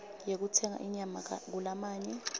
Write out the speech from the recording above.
yekutsenga inyama kulamanye